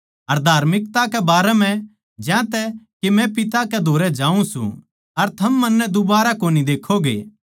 अर धार्मिकता कै बारे म्ह ज्यांतै के मै पिता कै धोरै जाऊँ सूं अर थम मन्नै दूबारै कोनी देक्खोगे